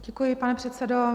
Děkuji, pane předsedo.